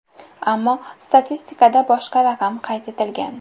Ammo statistikada boshqa raqam qayd etilgan.